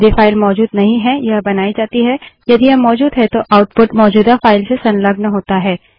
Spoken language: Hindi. यदि फाइल मौजूद नहीं है यह बनाई जाती है यदि यह मौजूद है तो आउटपुट मौजूदा फाइल से संलग्न होता है